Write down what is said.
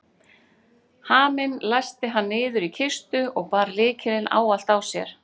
Haminn læsti hann niður í kistu og bar lykilinn ávallt á sér.